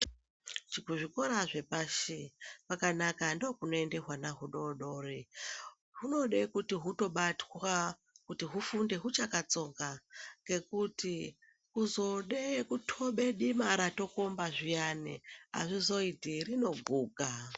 Kuzvikora zvepashi kwakanaka ndokunoenda hwana hudodori hunode kuti hutobatwa kuti hufunde hwakatsonga ngekuti kuzode kutobe dima rtikomba zviyani akuzoiti rinoguka.